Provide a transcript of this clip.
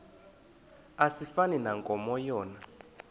asifani nankomo yona